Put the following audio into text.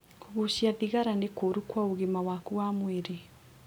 Kũgucia thigara nĩ kũru kwa ũgima waku wa mwĩrĩ.